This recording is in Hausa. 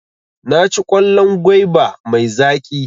Naci kwallon gwaiba mai zaƙi.